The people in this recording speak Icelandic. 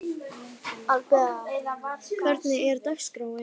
Abela, hvernig er dagskráin?